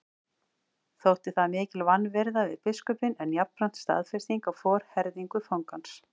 Þótti það mikil vanvirða við biskupinn en jafnframt staðfesting á forherðingu fangans.